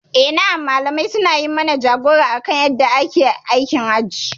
Na'am Malamai suna yi mana jagora akan yadda ake aikin hajji.